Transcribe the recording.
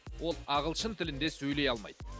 ол ағылшын тілінде сөйлей алмайды